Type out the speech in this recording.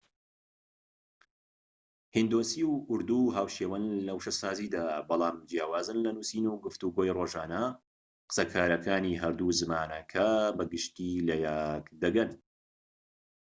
هیندۆسی و ئوردو هاوشێوەن لە وشەسازیدا بەڵام جیاوازن لە نوسین و گفتوگۆی ڕۆژانەدا قسەکارانی هەردوو زمانەکە بە گشتیی لەیەك دەگەن